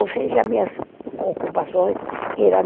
Ou seja, minhas ocupações eram